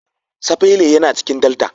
Sapele yana cikin delta.